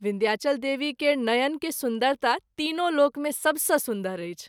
विन्ध्याचल देवी केर नयन के सुन्दरता तीनों लोक मे सभ सँ सुन्दर अछि।